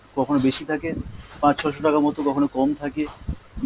কখনও বেশি থাকে পাঁচ ছ'শো টাকা মতো, কখনও কম থাকে